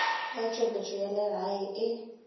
ya tšweletšo ya leago e